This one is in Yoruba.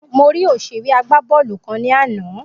Mo rí òsèré agbábọ́ọ́lù kan ní àná